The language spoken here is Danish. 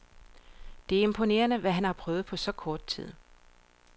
Det er imponerende, hvad han har prøvet på så kort tid.